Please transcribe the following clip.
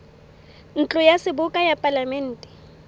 ntlo ya seboka ya palamente